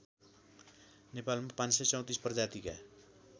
नेपालमा ५३४ प्रजातिका